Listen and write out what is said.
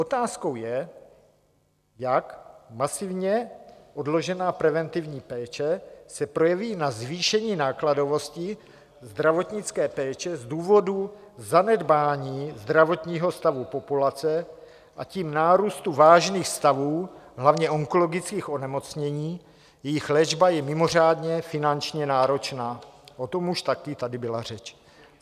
Otázkou je, jak masivně odložená preventivní péče se projeví na zvýšení nákladovosti zdravotnické péče z důvodu zanedbání zdravotního stavu populace, a tím nárůstu vážných stavů, hlavně onkologických onemocnění, jejichž léčba je mimořádně finančně náročná, o tom už taky tady byla řeč.